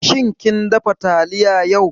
Shin kin dafa taliya yau?